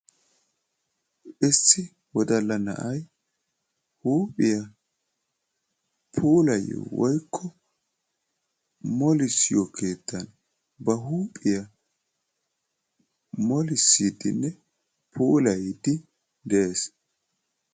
Issi woddalla na'aya huuphiyaa puulayiyo woyikko molissiyo keettan ba huuphiyaa molissidnne puulayiddi de'ees.